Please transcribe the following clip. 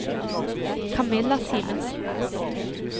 Kamilla Simensen